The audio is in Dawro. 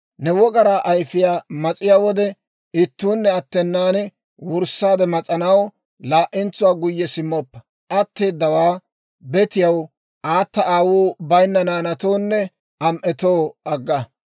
Ne wogaraa ayfiyaa mas'iyaa wode, ittuunne attenan wurssaade mas'anaw laa"entsuwaa guyye simmoppa; atteedawaa betiyaw, aata aawuu bayinna naanatoonne am"etoo agga.